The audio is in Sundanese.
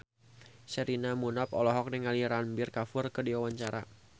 Sherina Munaf olohok ningali Ranbir Kapoor keur diwawancara